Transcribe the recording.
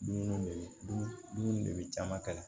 Dumuniw de bɛ dumuni de bɛ caman kɛlɛ